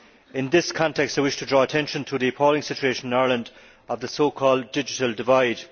In this context, I wish to draw attention to the appalling situation in Ireland of the so called digital divide'.